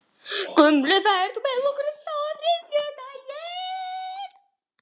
Gunnlöð, ferð þú með okkur á þriðjudaginn?